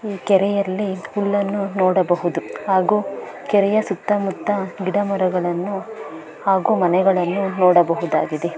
ಈ ಕೆರೆಯಲ್ಲಿ ಹುಲ್ಲನ್ನು ನೋಡಬಹುದು ಹಾಗು ಕೆರೆಯ ಸುತ್ತಮುತ್ತ ಗಿಡಮರಗಳನ್ನು ಹಾಗು ಮನೆಗಳನ್ನು ನೋಡಬಹುದಾಗಿದೆ.